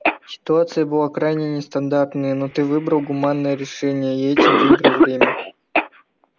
ситуация была крайне нестандартная но ты выбрал гуманное решение и этим выиграл время